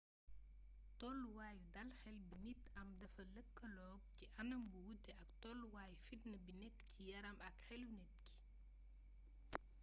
tolluwaayu dal xel bi nit am dafa lëkkaloog ci anam bu wute toluwaayu fitna bi nekk ci yaram ak xelu nit ki